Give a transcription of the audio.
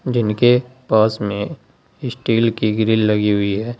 जिनके पास में स्टील की ग्रिल लगी हुई है।